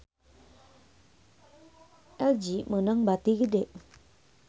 LG meunang bati gede